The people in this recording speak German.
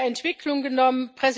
Entwicklung genommen.